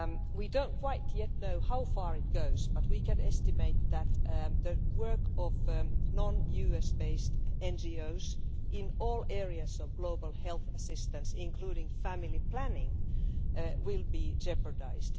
We do not quite yet know how far it goes but we can estimate that the work of non US based NGOs in all areas of global health assistance, including family planning, will be jeopardised.